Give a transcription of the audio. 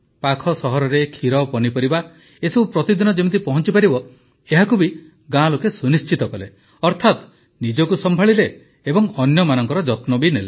ପାଖ ସହରରେ କ୍ଷୀରପନିପରିବା ଏସବୁ ପ୍ରତିଦିନ ଯେମିତି ପହଞ୍ଚିପାରିବ ଏହାକୁ ବି ଗାଁ ଲୋକେ ସୁନିଶ୍ଚିତ କଲେ ଅର୍ଥାତ ନିଜକୁ ସମ୍ଭାଳିଲେ ଏବଂ ଅନ୍ୟମାନଙ୍କର ଯତ୍ନ ନେଲେ